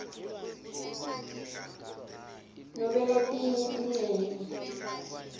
nobe letinye tincenye